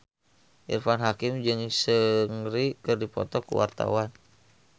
Irfan Hakim jeung Seungri keur dipoto ku wartawan